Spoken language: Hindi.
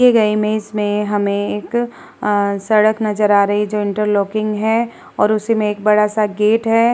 दिए गए इमेज में हमें एक आ सड़क नजर आ रही है जो इंटर लॉकिंग है और उसमें एक बड़ा सा गेट है।